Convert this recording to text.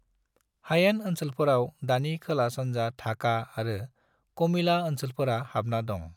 हायेन ओनसोलफोराव दानि खोला-सानजा ढाका आरो कोमिला ओनसोलफोरा हाबना दं।